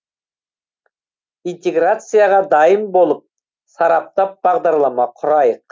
интеграцияға дайын болып сараптап бағдарлама құрайық